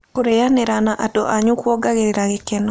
Kũrĩanĩra na and anyũ kũongagĩrĩra gĩkeno